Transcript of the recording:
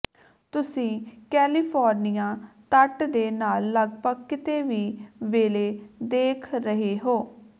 ਤੁਸੀਂ ਕੈਲੀਫੋਰਨੀਆ ਤੱਟ ਦੇ ਨਾਲ ਲਗਭਗ ਕਿਤੇ ਵੀ ਵੇਲ਼ੇ ਦੇਖ ਰਹੇ ਹੋ